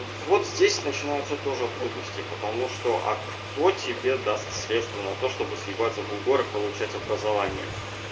вот здесь начинаются тоже трудности потому что а кто тебе даст средства на то чтобы съебаться за бугор и получать образование